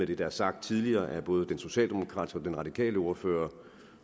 det der er sagt tidligere af både den socialdemokratiske og den radikale ordfører